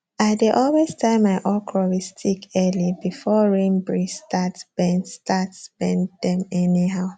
i dey always tie my okra with stick early before rain breeze start bend start bend dem anyhow